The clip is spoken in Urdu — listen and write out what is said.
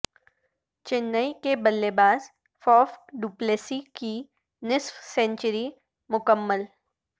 چنئی کے بلے باز فاف ڈوپلیسی کی نصف سنچری مکمل